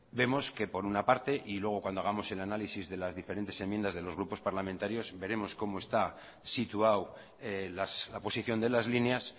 vemos que por una parte y luego cuando hagamos el análisis de las diferentes enmiendas de los grupos parlamentarios veremos cómo está situado la posición de las líneas